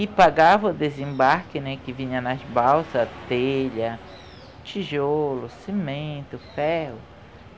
E pagava o desembarque, né, que vinha nas balsa, telha, tijolo, cimento, ferro.